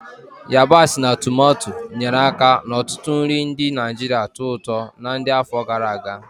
Ayabasi na tumato, nyere aka n'ọtụtụ nri ndị Naijiria tọó ụtọ na ndi afọ gara aga.